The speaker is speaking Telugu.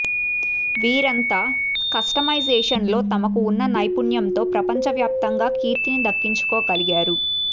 వీరంతా కస్టమైజేషన్లో తమకు ఉన్న నైపుణ్యంతో ప్రపంచ వ్యాప్తంగా కీర్తిని దక్కించుకోగలిగారు